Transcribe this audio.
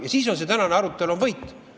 Ja siis on see tänane arutelu võit.